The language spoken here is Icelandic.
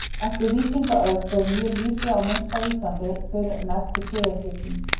Eftir víkingaöld ber mjög lítið á mynt á Íslandi fyrr en eftir siðaskipti.